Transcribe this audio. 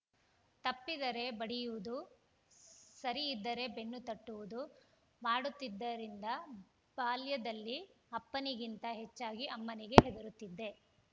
ತಪ್ಪಿದರೆ ಬಡಿಯುವುದು ಸರಿಯಿದ್ದರೆ ಬೆನ್ನು ತಟ್ಟುವುದು ಮಾಡುತ್ತಿದ್ದರಿಂದ ಬಾಲ್ಯಾದಲ್ಲಿ ಅಪ್ಪನಿಗಿಂತ ಹೆಚ್ಚಾಗಿ ಅಮ್ಮನಿಗೆ ಹೆದರುತ್ತಿದ್ದೆ